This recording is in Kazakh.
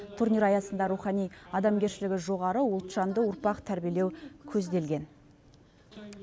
турнир аясында рухани адамгершілігі жоғары ұлтжанды ұрпақ тәрбиелеу көзделген